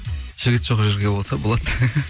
жігіт жоқ жерге болса болады